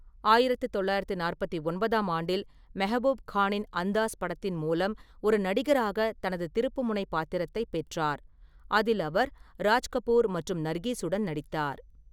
ஆயிரத்து தொள்ளாயிரத்தி நாற்பத்தி ஒன்பதாம் ஆண்டில் மெஹ்பூப் கானின் 'அந்தாஸ்' படத்தின் மூலம் ஒரு நடிகராக தனது திருப்புமுனை பாத்திரத்தைப் பெற்றார், அதில் அவர் ராஜ் கபூர் மற்றும் நர்கிஸுடன் நடித்தார்.